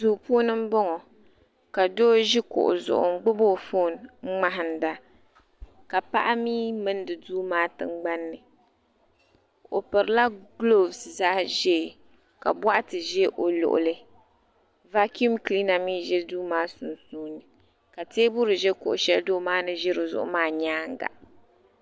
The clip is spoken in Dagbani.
Duu puuni m boŋɔ ka doo ʒi kuɣu zuɣu n gbibi o fooni n ŋmahinda ka paɣa mer mindi duu maa tingbanni o pirila gilofu zaɣa ʒee ka boɣati ʒɛ o luɣuli vakum kiliina mee za duu maa sunsuuni ka teebuli ʒɛ kuɣu sheli doo maa ni ʒi dizuɣu maa nyaanga.